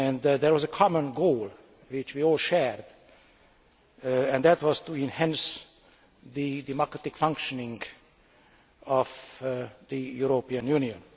There was a common goal which we all shared, and that was to enhance the democratic functioning of the European Union.